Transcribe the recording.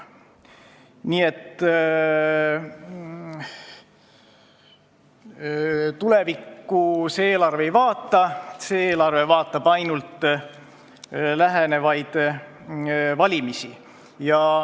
Nii et tulevikku see eelarve ei vaata, see eelarve peab silmas ainult lähenevaid valimisi.